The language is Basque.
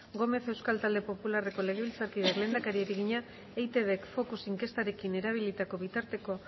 gómez euskal talde popularreko legebiltzarkideak lehendakariari egina eitbk focus inkestarekin erabilitako bitarteko